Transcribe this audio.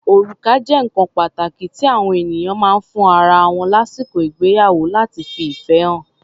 Orùká jẹ́ nǹkan pàtàkí tí àọ ènìyàn máa ń fún ara wọn lásìkò ìgbéyàwó láti fi ìfẹ́ hàn.